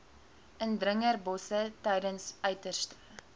indringerbosse tydens uiterste